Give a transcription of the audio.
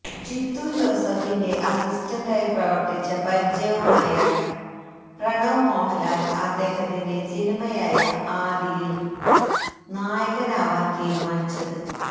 ജിത്തു ജോസഫിന്റെ അസിസ്റ്റന്റായി പ്രവര്ത്തിച്ച പരിചയവുമായാണ് പ്രണവ് മോഹന്ലാല് അദ്ദേഹത്തിന്റെ സിനിമയായ ആദിയില് നായകനാവാന് തീരുമാനിച്ചത്